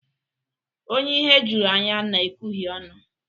Onye ihe juru anya na-ekwuhie onu.